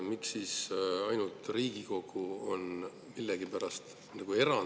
Miks siis ainult Riigikogu on see erand?